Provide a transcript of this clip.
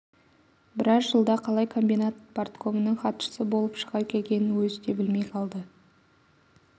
біраз жылда қалай комбинат парткомының хатшысы болып шыға келгенін өзі де білмей қалды